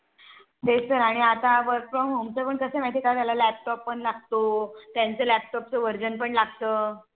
तेच तर आणि आता work from home चं पण कसंय माहिती का झालं Laptop पण लागतो त्यांच्या l Laptop चं Version पण लागतं